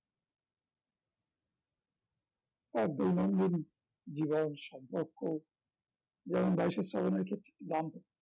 সব দৈনন্দিন জীবন সম্পর্ক যেমন বাইশে শ্রাবনের ক্ষেত্রে দাম্পত্য